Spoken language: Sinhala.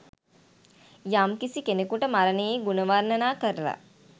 යම්කිසි කෙනෙකුට මරණයේ ගුණ වර්ණනා කරලා